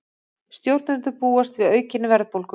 Stjórnendur búast við aukinni verðbólgu